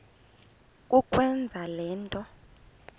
kukwenza le nto